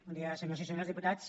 bon dia senyores i senyors diputats